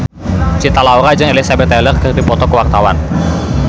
Cinta Laura jeung Elizabeth Taylor keur dipoto ku wartawan